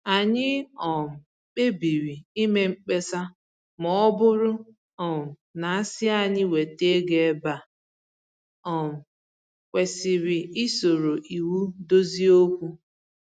Anyị um kpebiri ime mkpesa ma ọ bụrụ um na-asị anyị weta ego ebe e um kwesịrị isoro iwu dozie okwu